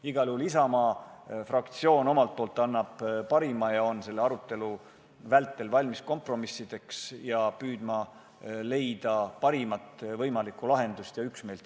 Igal juhul Isamaa fraktsioon annab endast parima ja on selle arutelu vältel valmis kompromissideks, et leida siin saalis parim võimalik lahendus ja üksmeel.